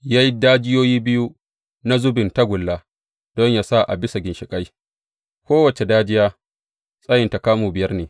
Ya yi dajiyoyi biyu na zubin tagulla don yă sa a bisa ginshiƙai; kowace dajiya tsayinta kamu biyar ne.